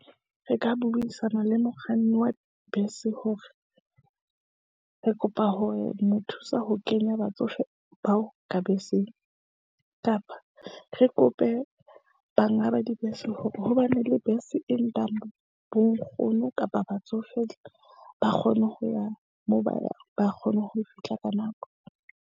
Re ka buisana le mokganni wa bese hore re kopa hore ho mo thusa ho kenya batsofe bao ka beseng, kapa re kope banga ba dibese hore ho ba ne le bese e nkang bo nkgono kapa batsofe ba kgone ho ya moo ba yang, ba kgone ho fihla ka nako.